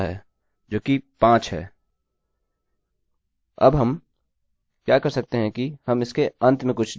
अब हम क्या कर सकते हैं कि हम इसके अंत में कुछ जोड़ दें